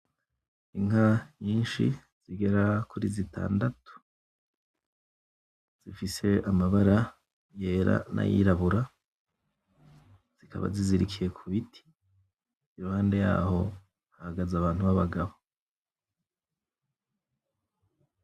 Inka nyinshi zigera kuri zitandatu zifise amabara yera n'ayirabura zikaba zizirikiye kubiti iruhande yaho hahagaze abantu babagabo